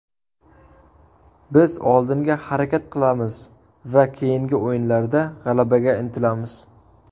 Biz oldinga harakat qilamiz va keyingi o‘yinlarda g‘alabaga intilamiz.